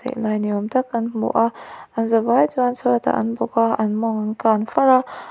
lai ni awm tak kan hmu a an zavai chuan chhuatah an bawk a an mawng an kan far a.